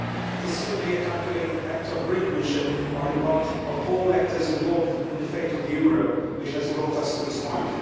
It is simply a calculated act of brinkmanship on the part of all actors involved in the fate of the euro which has brought us to this point.